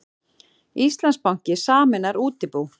Íslandsbanki sameinar útibú